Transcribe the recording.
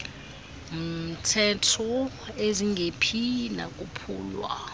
mtehtho ezingephi nokwaphulwa